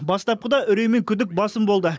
бастапқыда үрей мен күдік басым болды